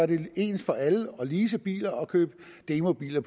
det ens for alle at lease biler og købe demobiler